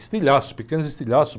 Estilhaço, pequenos estilhaços.